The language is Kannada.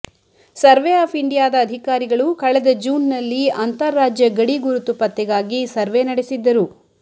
ಸರ್ವೆ ಆಫ್ ಇಂಡಿಯಾದ ಅಧಿಕಾರಿಗಳು ಕಳೆದ ಜೂನ್ನಲ್ಲಿ ಅಂತಾರಾಜ್ಯ ಗಡಿಗುರುತು ಪತ್ತೆಗಾಗಿ ಸರ್ವೆ ನಡೆಸಿದ್ದರು